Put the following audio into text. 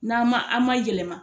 N'an ma an ma yɛlɛma.